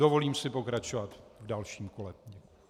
Dovolím si pokračovat v dalším kole.